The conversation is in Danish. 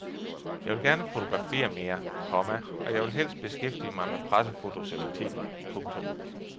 Jeg vil gerne fotografere mere, komma og jeg vil helst beskæftige mig med pressefotos eller tv. punktum